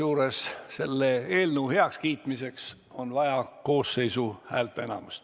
Kusjuures selle eelnõu heakskiitmiseks on vaja koosseisu häälteenamust.